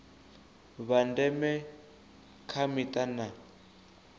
vha ndeme kha mita na